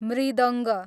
मृदङ्ग